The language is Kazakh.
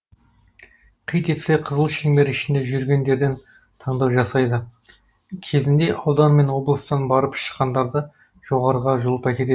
қит етсе қызыл шеңбер ішінде жүргендерден таңдау жасайды кезінде аудан мен облыстан жарып шыққандарды жоғарыға жұлып әкететін